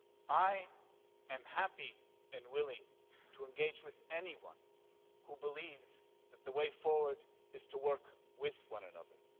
I am happy and willing to engage with anyone who believes that the way forward is to work with one another.